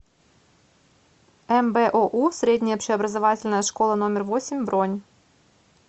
мбоу средняя общеобразовательная школа номер восемь бронь